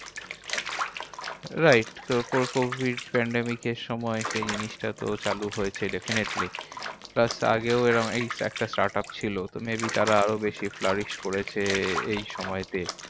Wright তো covid pandemic এর সময় সেই জিনিসটা তো চালু হয়েছে definitely plus আগেও এরম এই একটা start up ছিল। maybe তারা আরো বেশি flourish করেছে এই সময় তে।